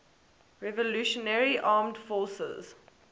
revolutionary armed forces